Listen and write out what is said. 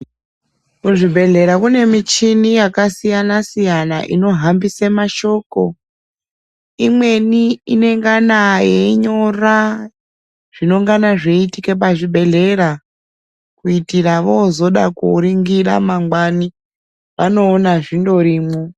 Muzvibhedhlera mune michini yakasiyana siyana inohambire mashoko. Imweni inongana yeinyora zvinenge zveiitika pachibhedhlera kuitira voozoda kuningira mangwani vanondoona zvirimwo.